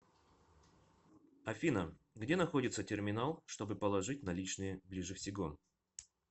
афина где находится терминал чтобы положить наличные ближе всего